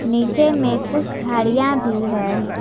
नीचे में कुछ झाड़ियां भी हैं।